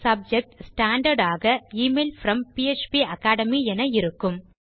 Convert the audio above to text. subject standard ஆக email from பாப்பகேட்மி என இருக்கும்